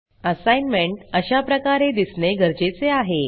assignment अशाप्रकारे दिसणे गरजेचे आहे